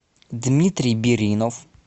дмитрий биринов